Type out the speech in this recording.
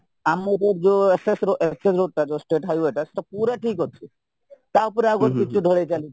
ଆମର ଯୋଉ ss ss ରୋଡଟା ଯୋଉ state highway ସେଇଟା ପୁରା ଠିକ ଅଛି ତାଉପରେ ଆଉଗୋଟିଏ ପିଚୁ ଢ଼ଳେଇ ଚାଲିଛି